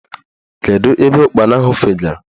Kedu ebe ụkpana ahụ fegara?